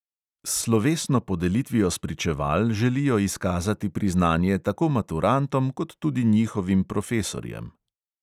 S slovesno podelitvijo spričeval želijo izkazati priznanje tako maturantom kot tudi njihovim profesorjem.